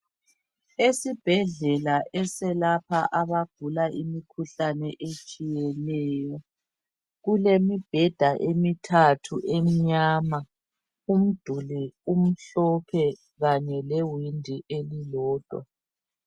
Esibhedlela eselapha abagula imikhuhlane etshiyeneyo. Kulemibheda emithathu emnyama. Umduli umhlophe kanye lewindi elilodwa..